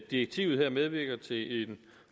direktivet her medvirker til en